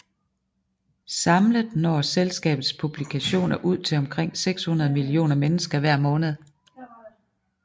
Samlet når selskabets publikationer ud til omkring 600 millioner mennesker hver måned